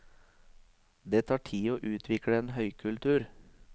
Det tar tid å utvikle en høykultur.